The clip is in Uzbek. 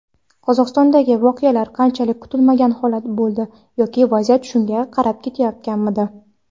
Qozog‘istondagi voqealar qanchalik kutilmagan holat bo‘ldi yoki vaziyat shunga qarab ketayotganmidi?.